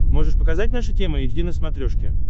можешь показать наша тема эйч ди на смотрешке